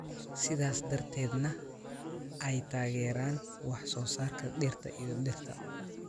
sidaas darteedna ay taageeraan wax soo saarka dhirta iyo dhirta.